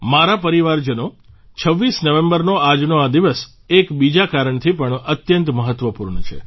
મારા પરિવારજનો ૨૬ નવેમ્બરનો આજનો આ દિવસ એક બીજા કારણથી પણ અત્યંત મહત્ત્વપૂર્ણ છે